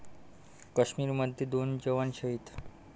काश्मीरमध्ये दोन जवान शहीद